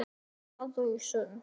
Farðu í sund.